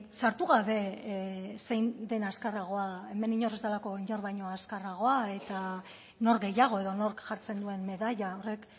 sartu gabe zein den azkarragoa hemen inor ez delako inor baino azkarragoa eta nor gehiago edo nork jartzen duen medaila horrek